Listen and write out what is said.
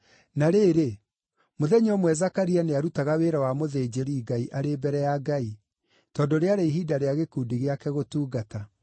Na rĩrĩ, mũthenya ũmwe Zakaria nĩarutaga wĩra wa mũthĩnjĩri-Ngai arĩ mbere ya Ngai, tondũ rĩarĩ ihinda rĩa gĩkundi gĩake gũtungata-rĩ,